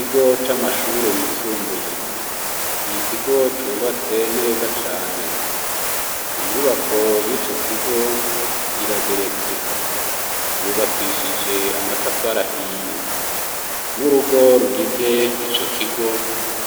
Ikigo c’amashure yisumbuye, Ikigo cubatse neza cane, inyubako yico kigo irageretse. Yubakishije amatafari ahiye. Nurugo rugize ico kigo,